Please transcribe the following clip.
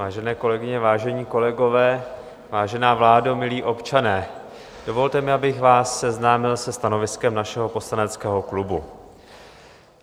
Vážené kolegyně, vážení kolegové, vážená vládo, milí občané, dovolte mi, abych vás seznámil se stanoviskem našeho poslaneckého klubu.